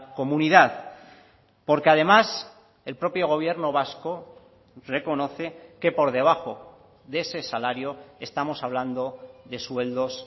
comunidad porque además el propio gobierno vasco reconoce que por debajo de ese salario estamos hablando de sueldos